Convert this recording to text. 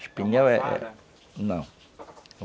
Espinhel é... Não.